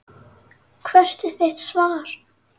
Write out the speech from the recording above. Hvert er þitt svar?